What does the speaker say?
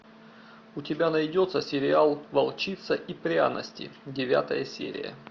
у тебя найдется сериал волчица и пряности девятая серия